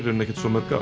ekkert svo mörg ár